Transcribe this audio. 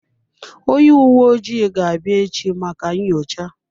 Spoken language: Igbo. Onye uwe ojii ga-abịa echi maka nyocha.